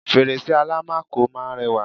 fèrèsé àlámakò máa ń rẹwà